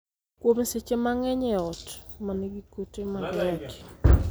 kuom seche mang'eny e ot ma nigi kute mag ayaki